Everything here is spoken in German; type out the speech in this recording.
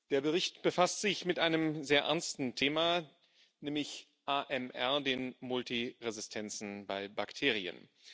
Der Bericht befasst sich mit einem sehr ernsten Thema, nämlich AMR, den Multiresistenzen bei Bakterien.